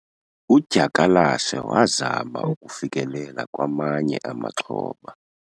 Udyakalashe wazama ukufikelela kwamanye amaxhoba.